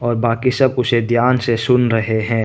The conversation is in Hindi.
और बाकी सब उसे ध्यान से सुन रहे हैं।